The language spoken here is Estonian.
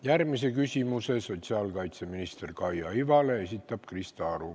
Järgmise küsimuse esitab Krista Aru ja see on sotsiaalkaitseminister Kaia Ivale.